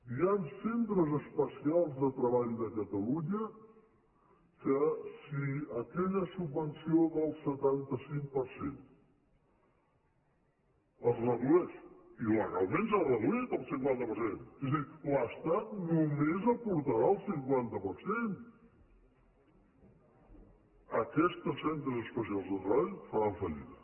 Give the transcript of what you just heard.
hi han centres especials de treball de catalunya que si aquella subvenció del setanta cinc per cent es redueix i legalment s’ha reduït al cinquanta per cent és a dir l’estat només aportarà el cinquanta per cent aquests centres espe·cials de treball faran fallida